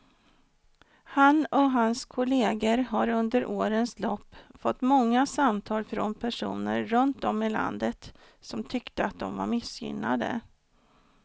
Han och hans kolleger har under årens lopp fått många samtal från personer runt om i landet som tyckte att de var missgynnade.